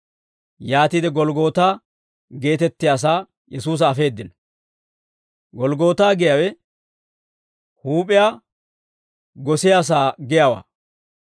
Yaatiide Golggootaa geetettiyaasaa Yesuusa afeeddino. «Golggootaa» giyaawe «Huup'iyaa Gosiyaasaa» giyaawaa.